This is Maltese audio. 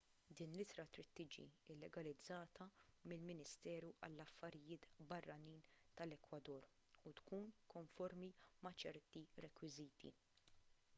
din l-ittra trid tiġi llegalizzata mill-ministeru għall-affarijiet barranin tal-ekwador u tkun konformi ma' ċerti rekwiżiti